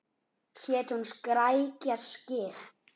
Hét hún Skrækja Skyr?